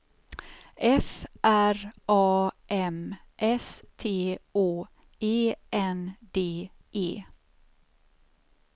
F R A M S T Å E N D E